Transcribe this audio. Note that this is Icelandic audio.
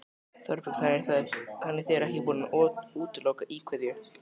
Þorbjörn: Þannig þið eruð ekki búnir að útiloka íkveikju?